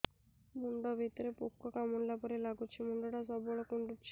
ମୁଣ୍ଡ ଭିତରେ ପୁକ କାମୁଡ଼ିଲା ପରି ଲାଗୁଛି ମୁଣ୍ଡ ଟା ସବୁବେଳେ କୁଣ୍ଡୁଚି